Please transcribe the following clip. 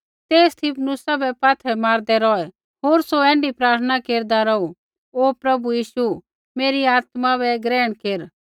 ते स्तिफनुसा बै पात्थरै मारदै रौहै होर सौ ऐण्ढी प्रार्थना केरदा रौहू हे प्रभु यीशु मेरी आत्मा बै ग्रहण केर